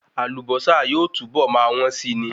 Àlùbọ́sà yóò túbọ̀ máa wọ́n si ni